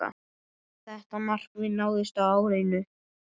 Þetta markmið náðist á árinu.